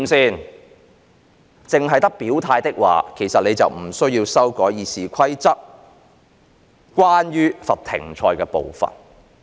如果只有表態，其實便不需要修改《議事規則》關於罰停賽的部分。